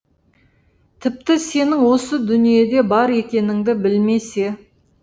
тіпті сенің осы дүниеде бар екеніңді білмесе